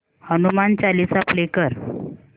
Hanuman Chalisa play कर